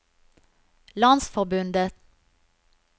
landsforbundet